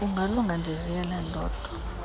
kungalunga ndiziyele ndodwa